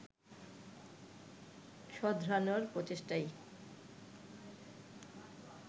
শোধরানোর প্রচেষ্টাই